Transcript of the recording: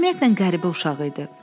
Ümumiyyətlə qəribə uşağı idi.